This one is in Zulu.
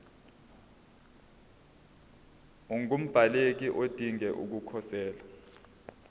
ungumbaleki odinge ukukhosela